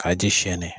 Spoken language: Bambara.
K'a ji sɛnɛn